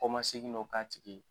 Kɔmaseni dɔ k'a tigi ye